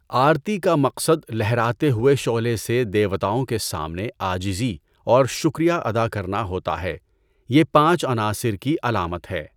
آرتی کا مقصد لہراتے ہوئے شعلہ سے دیوتاوں کے سامنے عاجزی اور شکریہ ادا کرنا ہوتا ہے، یہ پانچ عناصر کی علامت ہے.